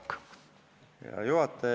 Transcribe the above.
Hea juhataja!